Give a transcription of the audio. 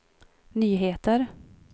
nyheter